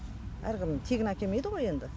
әркім тегін әкелмейді ғой енді